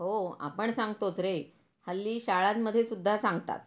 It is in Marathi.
हो आपण सांगतोच रे. हल्ली शाळांमध्ये सुद्धा सांगतात.